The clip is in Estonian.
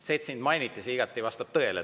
See, et sind mainiti, vastab igati tõele.